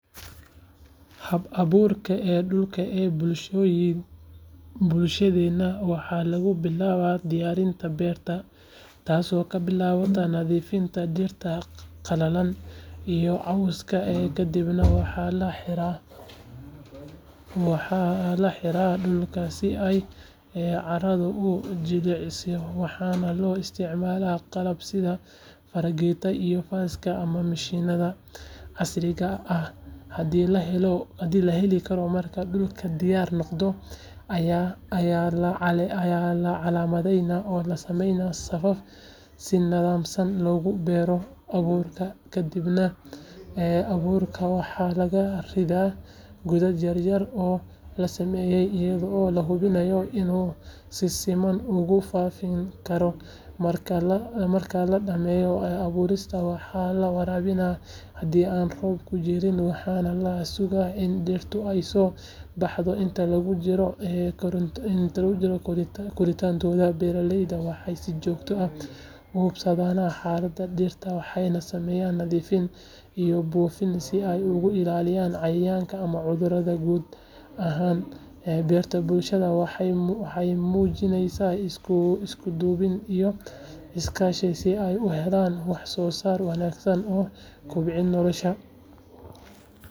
Habka abuurka dhulka ee bulshadeenna waxaa lagu bilaabaa diyaarinta beerta taasoo ka bilaabata nadiifinta dhirta qalalan iyo cawska kaddibna waxaa la xiraa dhulka si ay carradu u jilciso waxaana loo isticmaalaa qalab sida fargeetada iyo faaska ama mishiinnada casriga ah haddii la heli karo marka dhulku diyaar noqdo ayaa la calaamadeeyaa oo la sameeyaa safaf si nidaamsan loogu beero abuurka kadibna abuurka waxaa lagu riddaa godad yar yar oo la sameeyay iyadoo la hubinayo inuu si siman ugu fadhiyo carrada marka la dhameeyo abuurista waxaa la waraabiyaa haddii aan roobku jirin waxaana la sugaa in dhirta ay soo baxdo inta lagu jiro koritaankooda beeralaydu waxay si joogto ah u hubsadaan xaaladda dhirta waxayna sameeyaan nadiifin iyo buufin si ay uga ilaaliyaan cayayaanka ama cudurrada guud ahaan beeraleyda bulshada waxay muujiyaan isku duubni iyo iskaashi si ay u helaan wax soo saar wanaagsan oo kobciya noloshooda.